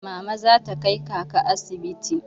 Mama za ta kai kaka asibiti.